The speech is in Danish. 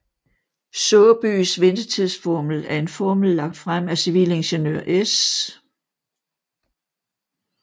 Saabyes ventetidsformel er en formel lagt frem af civilingeniør S